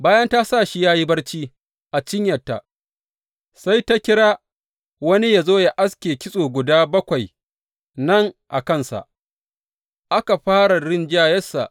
Bayan ta sa shi ya yi barci a cinyarta, sai ta kira wani ya zo ya aske kitso guda bakwai nan a kansa, aka fara rinjayensa.